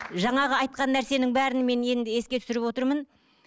жаңағы айтқан нәрсенің бәрін мен енді еске түсіріп отырмын